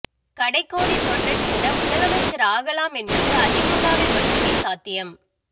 கடை கோடி தொண்டன் கூட முதலைமச்சர் ஆகலாம் என்பது அதிமுகவில் மட்டுமே சாத்தியம்